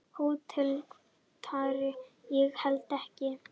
HÓTELHALDARI: Ég held ekki.